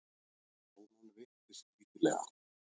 Krónan veiktist lítillega